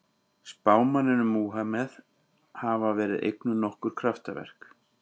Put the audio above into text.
Spámanninum Múhameð hafa verið eignuð nokkur kraftaverk.